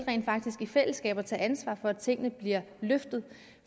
i fællesskab at tage ansvar for at tingene bliver løftet